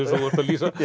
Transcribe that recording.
þú ert að lýsa